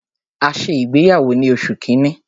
A ṣe ìgbéyàwó ni oṣù kínní.